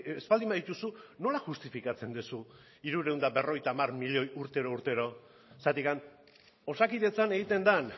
ez baldin badituzu nola justifikatzen duzu hirurehun eta hirurogeita hamar milioi urtero urtero zergatik osakidetzan egiten den